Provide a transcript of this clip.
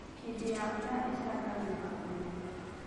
Hĩndĩ ya mbura ĩcangagĩra ũrĩmi.